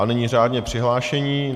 A nyní řádně přihlášení.